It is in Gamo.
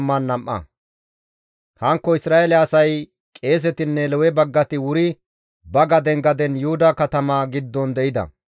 Hankko Isra7eele asay, qeesetinne Lewe baggati wuri ba gaden gaden Yuhuda katama giddon de7ida.